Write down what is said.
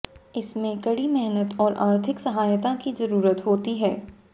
इसमें कड़ी मेहनत और आर्थिक सहायता की जरूरत होती है